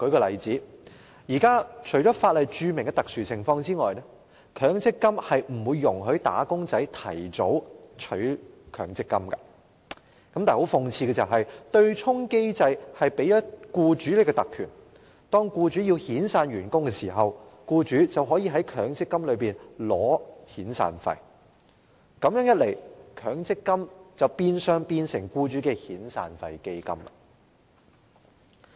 現時除法例註明的特殊情況外，強積金並不容許"打工仔"提早取出強積金，但諷刺的是，對沖機制卻賦予僱主特權，當他們要遣散員工時，便可從強積金中提取遣散費，這樣一來，強積金變相成為僱主的遣散費基金。